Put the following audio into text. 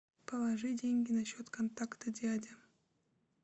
положи деньги на счет контакта дядя